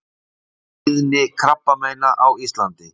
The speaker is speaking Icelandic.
TÍÐNI KRABBAMEINA Á ÍSLANDI